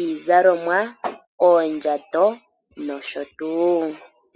iizalomwa, oondjato nosho tuu.